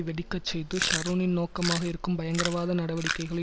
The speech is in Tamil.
வெடிக்கச்செய்வது ஷரோனின் நோக்கமாக இருக்கும் பயங்கரவாத நடவடிக்கைகளை